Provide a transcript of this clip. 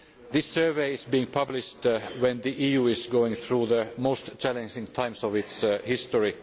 This survey is being published at a time when the EU is going through the most challenging times of its history.